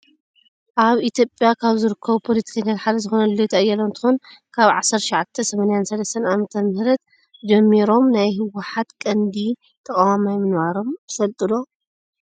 ኣብ ኢትዮጵያ ካብ ዝርከቡ ፖለትከኛታት ሓደ ዝኮነ ልደቱ አያለው እንትከውን፣ ካብ 1983 ዓ.ም ጀሚሮም ናይ ህውሓት ቀንዲ ተቋዋማይ ምንባሮም ትፈልጡ ዶ?